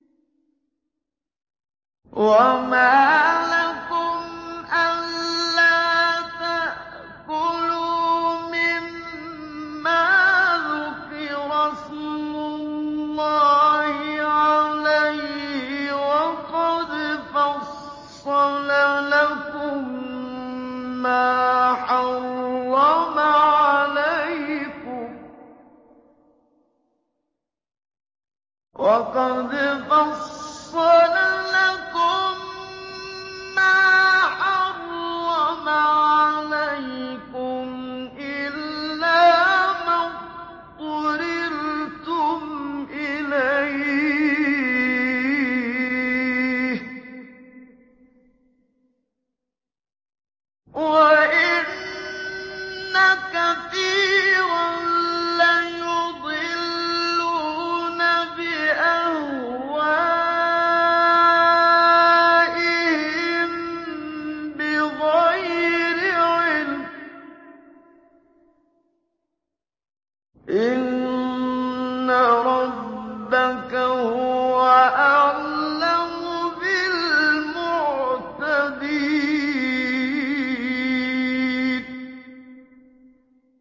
وَمَا لَكُمْ أَلَّا تَأْكُلُوا مِمَّا ذُكِرَ اسْمُ اللَّهِ عَلَيْهِ وَقَدْ فَصَّلَ لَكُم مَّا حَرَّمَ عَلَيْكُمْ إِلَّا مَا اضْطُرِرْتُمْ إِلَيْهِ ۗ وَإِنَّ كَثِيرًا لَّيُضِلُّونَ بِأَهْوَائِهِم بِغَيْرِ عِلْمٍ ۗ إِنَّ رَبَّكَ هُوَ أَعْلَمُ بِالْمُعْتَدِينَ